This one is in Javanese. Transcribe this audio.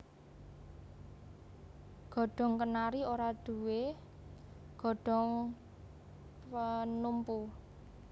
Godhong kenari ora duwé godhong penumpu